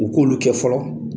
O k'olu kɛ fɔlɔ